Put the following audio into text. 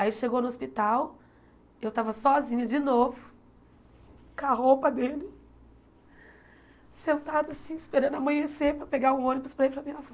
Aí chegou no hospital, eu estava sozinha de novo, com a roupa dele, sentada assim, esperando amanhecer para pegar o ônibus para ir para a minha avó.